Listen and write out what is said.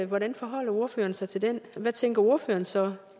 hvordan forholder ordføreren sig til den hvad tænker ordføreren så